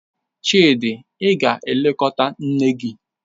Chidi, ị ga-elekọta nne gi!